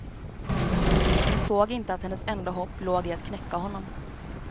Hon såg inte att hennes enda hopp låg i att knäcka honom.